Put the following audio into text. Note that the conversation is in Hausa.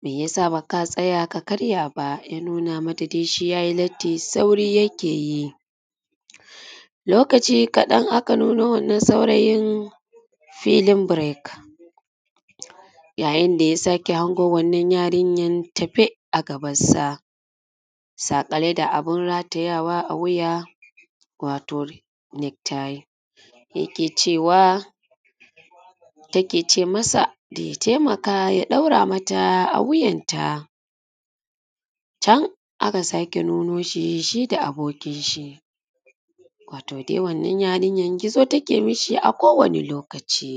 me ya sa ba ka tsaya ka karya ba. Ya nuna mata shi dai ya yi latti sauri yake yi. Lokaci kaɗan aka nuno wannan saurayin filin break yayin da ya sake hango wannan yarinyan tafe a gaban sa saƙale da abun ratayawa a wuya wato neck tie. Yake cewa take ce masa da ya taimaka mata ya ɗaura mata a wuyan ta. Can aka sake nuno shi, shi da abokin shi. Wato dai wannan yarinya gizo take ma shi a kowane lokaci